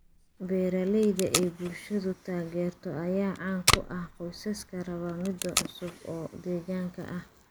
Beeralayda ay bulshadu taageerto ayaa caan ku ah qoysaska raba midho cusub oo deegaanka ah.